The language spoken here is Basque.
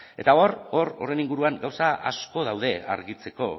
eta horren inguruan gauza asko daude argitzeko